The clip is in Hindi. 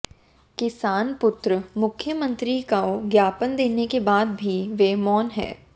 किसान पुत्र मुख्यमंत्री को ज्ञापन देने के बाद भी वे मौन है